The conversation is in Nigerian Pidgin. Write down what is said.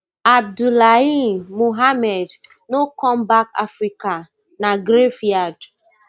abdullahi mohammed no come back africa na graveyard